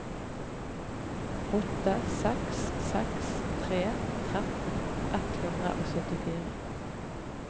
åtte seks seks tre tretten ett hundre og syttifire